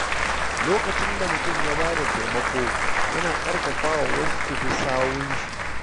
Lokacin da mutum ya bada taimako, yana ƙarfafa wasu su bi sawunshi.